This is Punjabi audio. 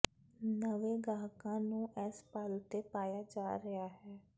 ਨਵੇਂ ਗਾਹਕਾਂ ਨੂੰ ਇਸ ਪਲ ਤੇ ਪਾਇਆ ਜਾ ਰਿਹਾ ਹੈ